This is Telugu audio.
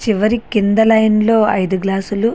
చివరికి కింద లైన్ లో ఐదు గ్లాసులు --